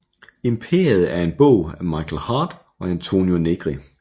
Imperiet er en bog af Michael Hardt og Antonio Negri